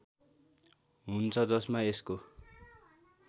हुन्छ जसमा यसको